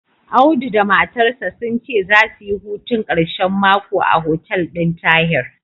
Audu da matarsa sun ce zasu yi hutun ƙarshen mako a hotel ɗin Tahir.